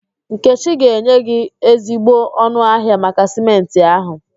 Nkechi ga-enye gị ezigbo ọnụ ahịa maka Sịmentị ahụ